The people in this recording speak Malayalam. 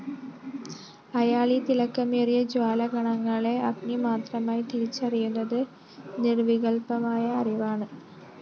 അയാള്‍ ഈ തിളക്കമേറിയ ജ്വാലാകണങ്ങളെ അഗ്നിമാത്രമായി തിരിച്ചറിയുന്നത്‌ നിര്‍വികല്‍പ്പമായ അറിവാണ്‌